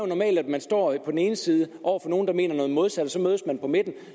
normalt at man står på den ene side over for nogle andre der mener noget modsat og så mødes man på midten